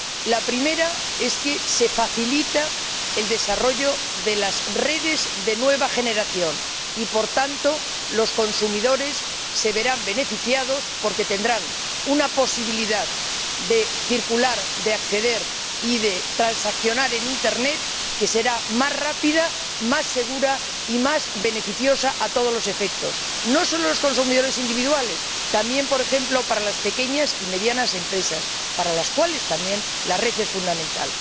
La primera es que se facilita el desarrollo de las redes de nueva generación y, por tanto, los consumidores se verán beneficiados porque tendrán una posibilidad de circular, de acceder y de transaccionar en Internet que será más rápida, más segura y más beneficiosa a todos los efectos, no sólo para los consumidores individuales sino también, por ejemplo, para las pequeñas y medianas empresas, para las cuales también la red es fundamental.